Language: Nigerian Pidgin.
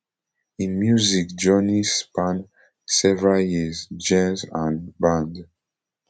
im music journey span several years genres and band